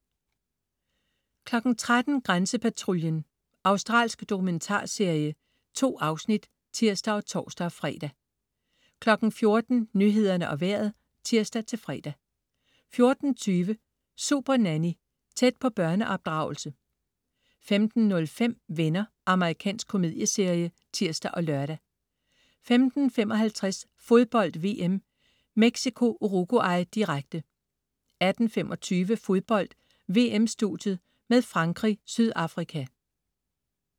13.00 Grænsepatruljen. Australsk dokumentarserie. 2 afsnit (tirs og tors-fre) 14.00 Nyhederne og Vejret (tirs-fre) 14.20 Supernanny. Tæt på børneopdragelse 15.05 Venner. Amerikansk komedieserie (tirs og lør) 15.55 Fodbold VM: Mexico-Uruguay, direkte 18.25 Fodbold: VM-studiet med Frankrig-Sydafrika